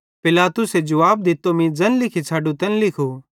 पिलातुसे जुवाब दित्तो मीं ज़ैन लिखी छ़ाडु तैन लिखू